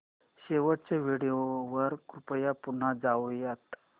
शेवटच्या व्हिडिओ वर कृपया पुन्हा जाऊयात